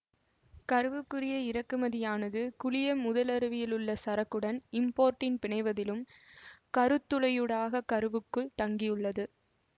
கருவுக்குரிய இறக்குமதியானது குழிய முதலுருவிலுள்ள சரக்குடன் இம்போர்ட்டின் பிணைவதிலும் கருத் துளையூடாக கருவுக்குள் தங்கியுள்ளது